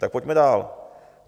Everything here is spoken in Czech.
Tak pojďme dál.